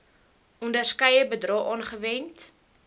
onderskeie bedrae aangewend